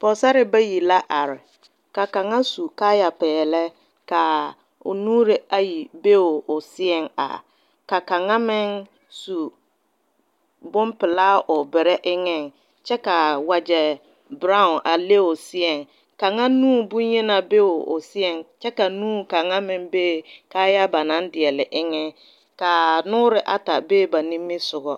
Pɔgesera bayi la a are ka kaŋa su kaayaa peɛle ka o nuure ayi be o seɛ a ka kaŋa meŋ su bonpelaa o bɛre eŋ kyɛ kaa wagye bero a le o seɛ kaŋa nu bonyenaa be o seɛ kyɛ ka nu kaŋa meŋ be kaayaa banaŋ deɛgle kaa noɔre ata be ba nimisɔgo.